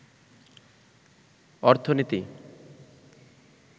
অর্থনীতি